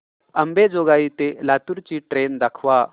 अंबेजोगाई ते लातूर ची ट्रेन दाखवा